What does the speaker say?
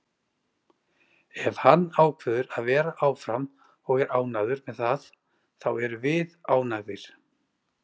Ef hann ákveður að vera áfram og er ánægður með það þá erum við ánægðir.